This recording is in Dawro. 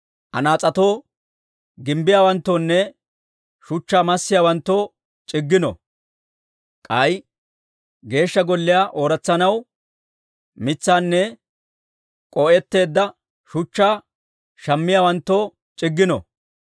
anas'etoo gimbbiyaawanttoonne shuchchaa massiyaawanttoo c'iggino. K'ay Geeshsha Golliyaa ooratsanaw, mitsaanne k'oo'etteedda shuchchaa shammiyaawanttoo c'iggino.